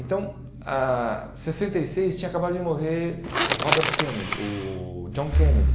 Então, ah sessenta e seis, tinha acabado de morrer o Robert Kennedy, o John Kennedy.